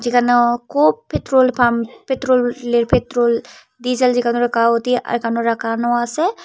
যেন খুব petrol pump পেত্রোলের পেত্রোল ডিজেল এখানো রাখানো আছে।